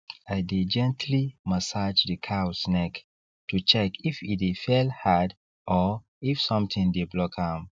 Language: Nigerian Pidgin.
i dey gently massage the cows neck to check if e dey fell hard or if something dey block am